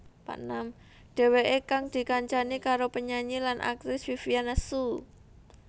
Dheweké kang dikancani karo penyanyi lan aktris Vivian Hsu